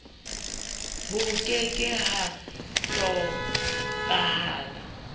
ho ke ke ha hlokahala